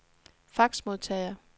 faxmodtager